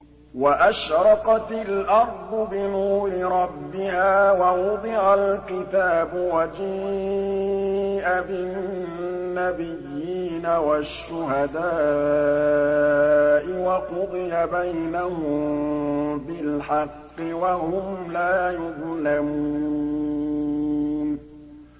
وَأَشْرَقَتِ الْأَرْضُ بِنُورِ رَبِّهَا وَوُضِعَ الْكِتَابُ وَجِيءَ بِالنَّبِيِّينَ وَالشُّهَدَاءِ وَقُضِيَ بَيْنَهُم بِالْحَقِّ وَهُمْ لَا يُظْلَمُونَ